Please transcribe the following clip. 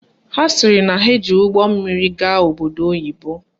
Ha sịrị na ha ji ụgbọmmiri gaa obodo oyibo